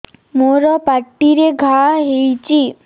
ମୋର ପାଟିରେ ଘା ହେଇଚି